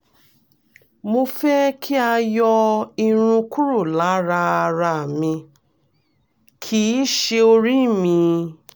mo fẹ́ kí a yọ irun kúrò lára ara mi kì í ṣe orí mi